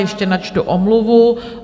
Ještě načtu omluvu.